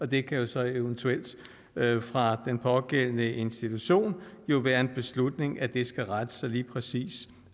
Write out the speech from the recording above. det kan jo så eventuelt fra den pågældende institution være en beslutning at det skal rette sig lige præcis